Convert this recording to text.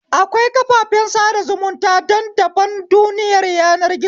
Akwai kafafen sada zumunta dan daban duniyar yanar gizo